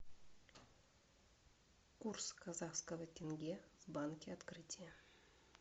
курс казахского тенге в банке открытие